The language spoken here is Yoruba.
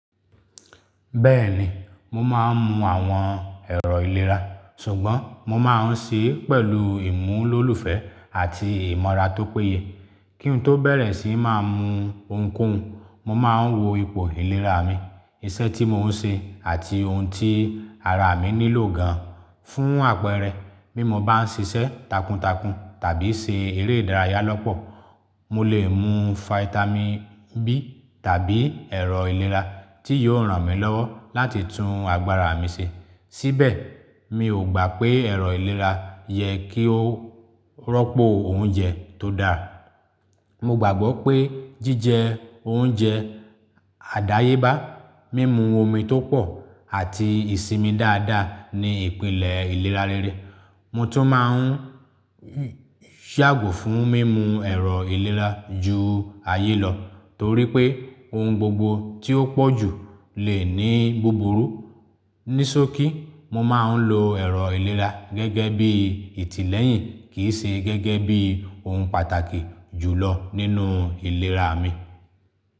Bẹ́ẹ̀ni, mo máa ń mu àwọn ẹ̀rọ ìlera, ṣùgbọ́n mo máa ń ṣe é pẹ̀lú ìmúlò́lùfẹ́ àti ìmọra tó péye. Kí n tó bẹ̀rẹ̀ sí máa mu ohunkóhun, mo máa ń wo ipò ìlera mi, iṣẹ́ tí mò ń ṣe àti ohun tí ara mi nílò gan-an. Fún àpẹẹrẹ, bí mo bá ń ṣiṣẹ́ takuntakun tàbí ṣe eré ìdárayá lọ́pọ̀, mo lè mu fáítámì B tàbí ẹ̀rọ ìlera tí yóò ran mi lọ́wọ́ láti tún agbára mi ṣe. Síbẹ̀, mi ò gbà pé ẹ̀rọ ìlera yẹ kí ó rọ́pò oúnjẹ tó dáa. Mo gbàgbọ́ pé jíjẹ oúnjẹ àdáyébá, mímu omi tó pọ̀ àti ìsinmi dáadáa ni ìpìlẹ̀ ìlera rere. Mo tún máa ń ṣàgùn fún mímu ẹ̀rọ ìlera ju ayé lọ torí pé ohun gbogbo tí ó pọ̀ jù lè ní búburú. Nísọ̀kí, mo máa ń lo ẹ̀rọ ìlera gẹ́gẹ́ bí ìtìlẹ́yìn kì í ṣe gẹ́gẹ́ bí ohun pàtàkì jùlọ nínú ìlera mi.